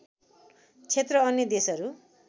क्षेत्र अन्य देशहरू